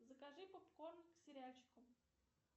закажи попкорн к сериальчику